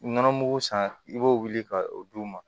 Nɔnɔ mugu san i b'o wuli ka o d'u ma